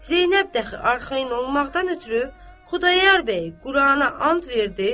Zeynəb də axı arxayın olmaqdan ötrü Xudayar bəyi Qurana and verdi.